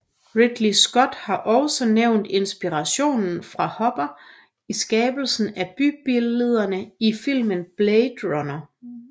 Ridley Scott har også nævnt inspiration fra Hopper i skabelsen af bybillederne i filmen Blade Runner